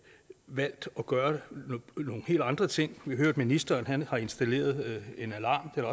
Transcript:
valgt at gøre nogle helt andre ting vi at ministeren har installeret en alarm og